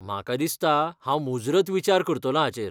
म्हाका दिसता हांव मुजरत विचार करतलों हाचेर.